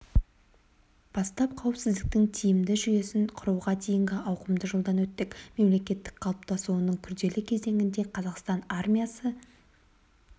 бастап қауіпсіздіктің тиімді жүйесін құруға дейінгі ауқымды жолдан өттік мемлекеттің қалыптасуының күрделі кезеңінде қазақстан армиясы